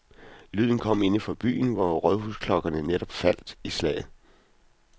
Lyden kom inde fra byen, hvor rådhusklokkerne netop faldt i slag.